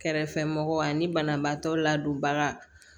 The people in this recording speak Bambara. Kɛrɛfɛmɔgɔw ani banabaatɔ ladonbaga